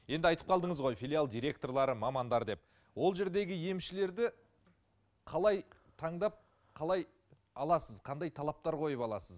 енді айтып қалдыңыз ғой филиал директорлары мамандар деп ол жердегі емшілерді қалай таңдап қалай аласыз қандай талаптар қойып аласыз